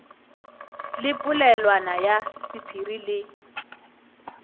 le polelwana ya sephiri le